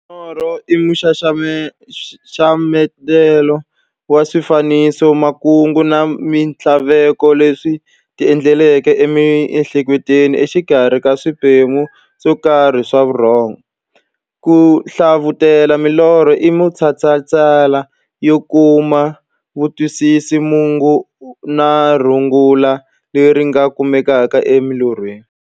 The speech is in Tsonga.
Norho i nxaxamelo wa swifaniso, makungu na minthlaveko leswi ti endlekelaka e mi'hleketweni exikarhi ka swiphemu swokarhi swa vurhongo. Ku hlavutela milorho i matshalatshala yo kuma kutwisisa mungo na rungula leri nga kumekaka eka milorho.